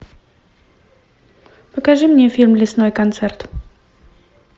покажи мне фильм лесной концерт